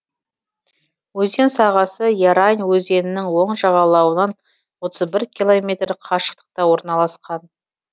өзен сағасы ярань өзенінің оң жағалауынан отыз бір километр қашықтықта орналасқан